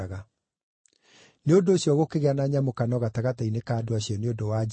Nĩ ũndũ ũcio gũkĩgĩa na nyamũkano gatagatĩ-inĩ ka andũ acio nĩ ũndũ wa Jesũ.